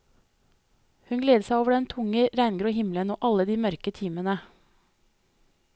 Hun gledet seg over den tunge, regngrå himmelen og alle de mørke timene.